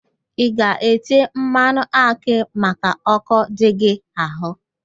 ị ga-ete mmanụ akị maka ọ́kọ́ dị gị ahụ?